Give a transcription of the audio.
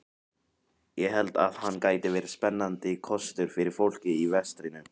Ég held að hann gæti verið spennandi kostur fyrir fólkið í vestrinu.